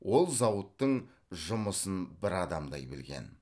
ол зауыттың жұмысын бір адамдай білген